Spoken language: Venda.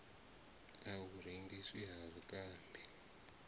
na u rengiswa ha zwikambi